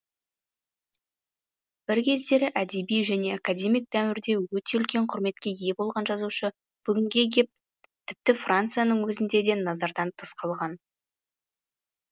бір кездері әдеби және академик дәуірде өте үлкен құрметке ие болған жазушы бүгінге кеп тіпті францияның өзінде де назардан тыс қалған